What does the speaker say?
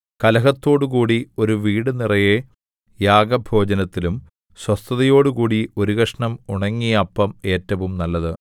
കലഹത്തോടുകൂടി ഒരു വീടു നിറയെ യാഗഭോജനത്തിലും സ്വസ്ഥതയോടുകൂടി ഒരു കഷണം ഉണങ്ങിയ അപ്പം ഏറ്റവും നല്ലത്